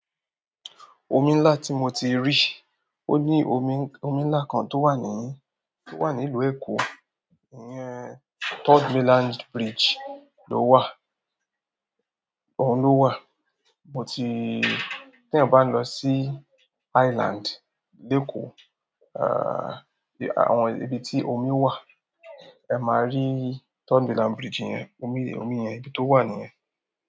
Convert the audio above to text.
Omi ńlá tí mo ti rí, ó ní omi, omi ńlá kan tó wà ní, tó wà ní ìlú Èkó, ìyẹn Third Mainland Bridge ló wà, òun ló wà. Mo ti-- tí ẹ̀ bá lọ sí Island, de èkó, à, àwọn ibi tí omi wà, ẹ máa rí Third Mainland Bridge yẹn, omi, omi yẹn ibi tó wà nìyẹn.